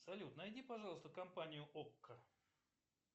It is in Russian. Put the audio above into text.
салют найди пожалуйста компанию окко